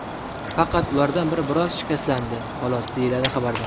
Faqat ulardan biri biroz shikastlandi, xolos”, deyiladi xabarda.